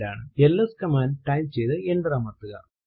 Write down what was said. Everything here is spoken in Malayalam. എൽഎസ് കമാൻഡ് ടൈപ്പ് ചെയ്തു എന്റർ അമർത്തുക